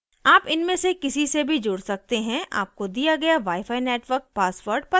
आप इनमें से किसी से भी जुड़ सकते हैं आपको दिया गया wifi network password पता होना चाहिए